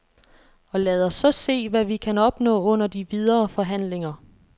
Og lad os så se, hvad vi kan opnå under de videre forhandlinger.